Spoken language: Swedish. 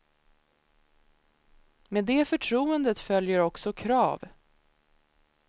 Med det förtroendet följer också krav.